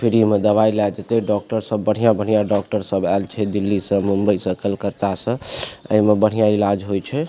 Free में दवाई लाए देते डॉक्टर सब बढ़िया-बढ़िया डॉक्टर सब आएल छे दिल्ली से मुंबई से कोलकाता से आ इमें बढ़िया इलाज होए छे।